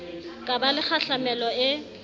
ka ba le kgahlamelo e